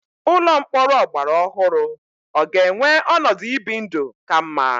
Ụlọ mkpọrọ ọgbara ọhụrụ ọ ga-enwe ọnọdụ ibi ndụ ka mma?